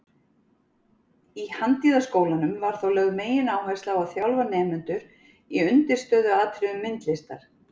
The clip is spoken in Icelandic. Í Handíðaskólanum var þá lögð megináhersla á að þjálfa nemendur í undirstöðuatriðum myndlistar.